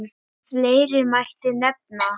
Fleiri mætti nefna.